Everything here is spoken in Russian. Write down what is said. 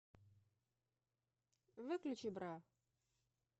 выключи бра